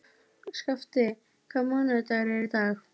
Skafti, hvaða mánaðardagur er í dag?